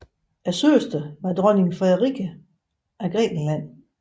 Søsteren var dronning Frederike af Grækenland